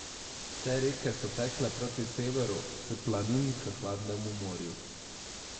Vse reke so tekle proti severu, s planin k hladnemu morju.